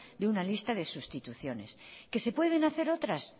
de una lista de sustituciones que se pueden hacer otras